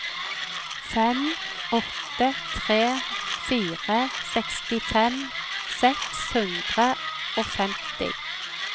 fem åtte tre fire sekstifem seks hundre og femti